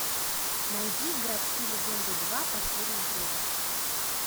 найди городские легенды два последний отрезок